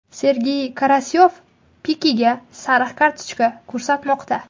Sergey Karasyov Pikega sariq kartochka ko‘rsatmoqda.